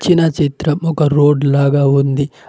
ఇచ్చిన చిత్రం ఒక రోడ్ లాగా ఉంది.